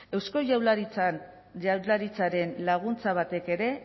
eusko jaurlaritzaren laguntza batek ere